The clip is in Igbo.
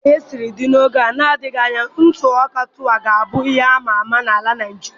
Dika ihe siri dị n'oge na adịghị anya, ntụ ọka tuwo ga abụ ihe ama ama n'ala Naigeria